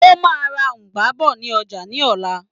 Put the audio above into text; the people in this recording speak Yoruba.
O máa ra Ugba bọ̀ ní ọjà ní òla.